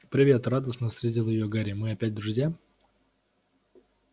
привет радостно встретил её гарри мы опять друзья